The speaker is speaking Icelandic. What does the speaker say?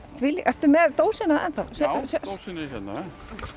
þvílíkur viðbjóður ertu með dósina enn þá já dósin er hérna